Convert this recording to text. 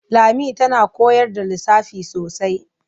Lami tana koyar da lissafi sosai.